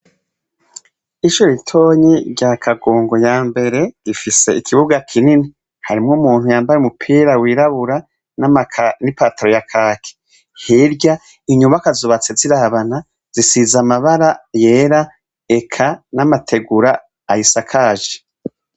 Ishure ritoyi rya kagongo ya mbere rifis' ikibuga kinini harimw' umuntu yambay' umupira wirabura ni pantalon ya kaki, hirya y' inyubakwa zubatse zirabana zisiz, amabara yera, eka n' amatigur' ayisakaje.